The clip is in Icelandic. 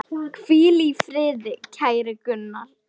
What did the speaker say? Hvíl í friði, kæri Gunnar.